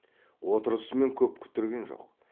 отырысымен көп күттірген жоқ